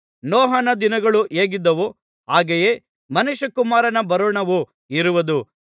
ನೋಹನ ದಿನಗಳು ಹೇಗಿದ್ದವೋ ಹಾಗೆಯೇ ಮನುಷ್ಯಕುಮಾರನ ಬರೋಣವು ಇರುವುದು